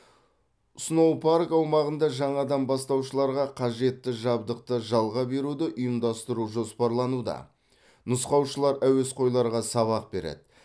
сноупарк аумағында жаңадан бастаушыларға қажетті жабдықты жалға беруді ұйымдастыру жоспарлануда нұсқаушылар әуесқойларға сабақ береді